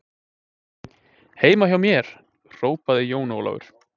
Heima hjá mér, hrópaði Jón Ólafur.